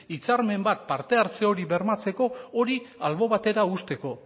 hitzarmen bat parte hartze hori bermatzeko hori albo batera uzteko